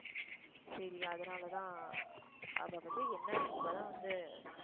சரி அதனாலதான் அவள பத்தி என்ன இப்ப தான் வந்து